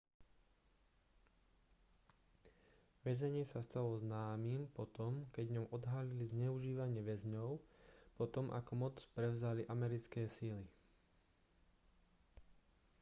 väzenie sa stalo známym po tom keď v ňom odhalili zneužívanie väzňov po tom ako moc prevzali americké sily